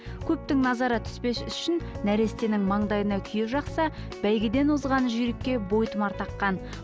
көптің назары түспес үшін нәрестенің маңдайына күйе жақса бәйгеден озған жүйрікке бойтұмар таққан